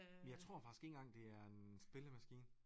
Men jeg tror faktisk ikke engang det er en spillemaskine